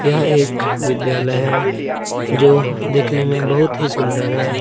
यह एक विद्यालय है जो दिखने में बहुत ही सुंदर है ।.